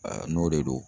n'o de don